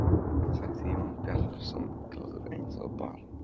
sagði Jón Bjarnason, glaður eins og barn.